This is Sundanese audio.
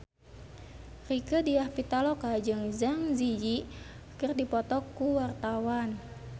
Rieke Diah Pitaloka jeung Zang Zi Yi keur dipoto ku wartawan